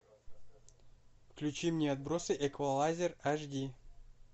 включи мне отбросы эквалайзер аш ди